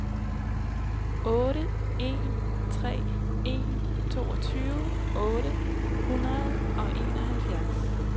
otte en tre en toogtyve otte hundrede og enoghalvfjerds